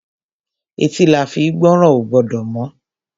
Etí la fín gbọ́ràn. Ó gbọ́dọ̀ mọ́.